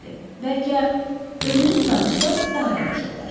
Bəlkə özünüz danışsanız daha yaxşı olar.